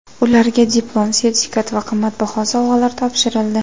Ularga diplom, sertifikat va qimmatbaho sovg‘alar topshirildi.